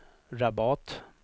Rabat